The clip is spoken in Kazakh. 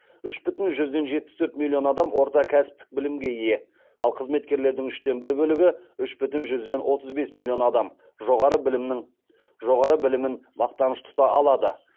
үш бүтін жүзден жетпіс төрт миллион адам орта кәсіптік білімге ие ал қызметкерлердің үштен бір бөлігі үш бүтін жүзден отыз бес миллион адам жоғары білімін мақтаныш тұта алады